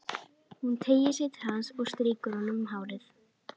Hún teygir sig til hans og strýkur honum um hárið.